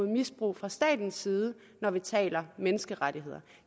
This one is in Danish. misbrug fra statens side når vi taler menneskerettigheder